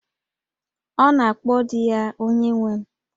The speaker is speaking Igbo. Ọ na-akpọ di ya 'Onyenwe m'